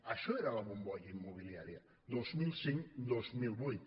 això era la bombolla immobiliària dos mil cinc·dos mil vuit